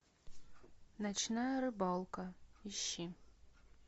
ночная рыбалка ищи